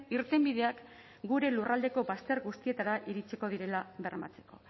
irtenbideak gure lurraldeko bazter guztietara iritsiko direla bermatzeko